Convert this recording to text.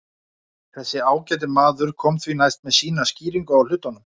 Þessi ágæti maður kom því næst með sína skýringu á hlutunum.